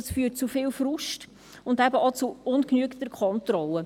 Das führt zu viel Frust und eben auch zu ungenügender Kontrolle.